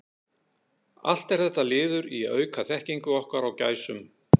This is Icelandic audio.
Allt er þetta liður í að auka þekkingu okkar á gæsum.